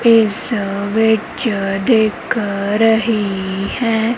ਇਸ ਵਿੱਚ ਦਿਖ ਰਹੀ ਹੈ।